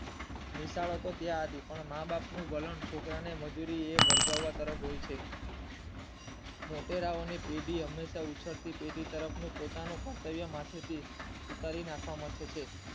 નિશાળે હતા ત્યાં થી જ પણ માં બાપ ના વલણ છોકરાવ નેમંજૂરી તરફ વળગાવાનું હોય છે મૉટેરવો ની પેઠી હંમેશા ઉછળતી પેઢી તરફ પોતાનું કર્તવ્ય માથે થી ઉતારી નાખવા મથે છે.